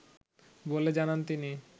বলে জানান তিনি